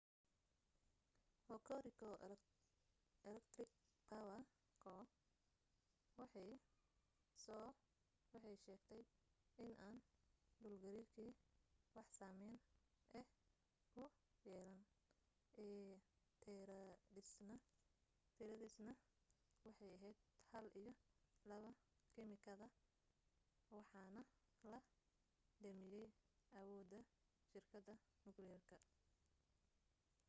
hokuriku electric power co waxay soo waxay sheegtay inaan dhulgariirkii wax saameyn ah ku yeelaan itiradaasna waxay ahayd1 iyo 2 kimikada iwaxaana la damiyayawooda shirkada nukliyeerka